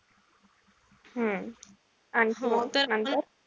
हम्म आणखी मग नंतर?